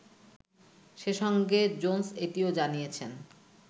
সে সঙ্গে জোনস এটিও জানিয়েছেন